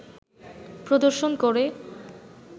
প্রদর্শন করে